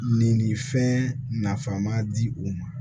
Nin nin fɛn nafama di u ma